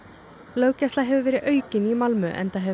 löggæsla hefur verið aukin í Malmö enda hefur